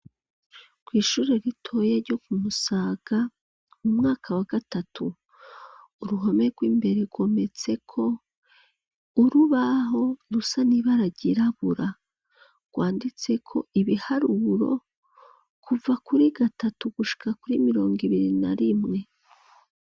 Ishure ritoya ryo ku Musaga mu mwaka wa gatatu uruhome rw'imbere rwometseko urubaho rusa nibara ryirabura rwanditse ko ibiharuro kuva kuri gatatu gushika kuri mirongo ibiri na rimwe.